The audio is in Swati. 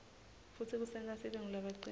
futsi kusenta sibe ngulabacinile